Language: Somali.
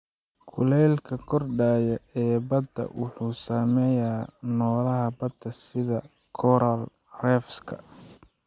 Kuleylka kordhaya ee badda wuxuu saameeyaa noolaha badda sida coral reefs-ka.